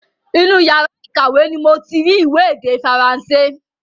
Inú yàrá ìkàwé ni moti rí ìwé èdè Faransé